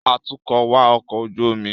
Atukọ̀ wa ọkọ̀ ojú omi